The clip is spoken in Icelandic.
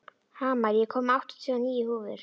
Hamar, ég kom með áttatíu og níu húfur!